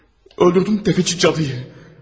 Öldürdüm təfəçi cadıyı.